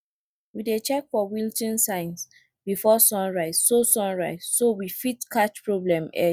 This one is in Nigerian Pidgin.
we dey check for wilting signs before sunrise so sunrise so we fit catch problem early